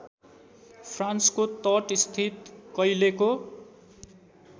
फ्रान्सको तटस्थित कैलेको